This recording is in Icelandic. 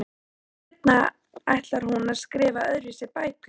Seinna ætlar hún að skrifa öðruvísi bækur.